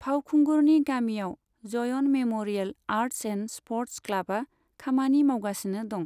फावखुंगुरनि गामिआव जयन memorial arts and sports क्लाबआ खामानि मावगासिनो दं।